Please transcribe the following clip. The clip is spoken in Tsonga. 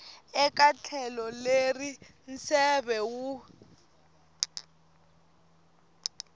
eka tlhelo leri nseve wu